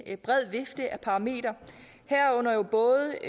bred vifte af parametre herunder jo både